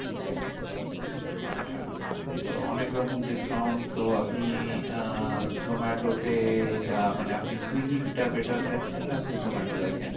আচ্ছা তো অনেকরকম discount তো আপনি আহ zomato তে আহ মানে আপনি সুইগি টা better দেখেন? না zomato দেখেন?